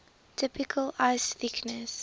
typical ice thickness